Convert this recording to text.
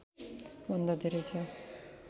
भन्दा धेरै छ